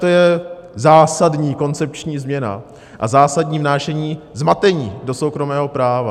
To je zásadní koncepční změna a zásadní vnášení zmatení do soukromého práva.